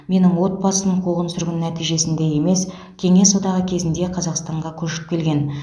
менің отбасым қуғын сүргін нәтижесінде емес кеңес одағы кезінде қазақстанға көшіп келген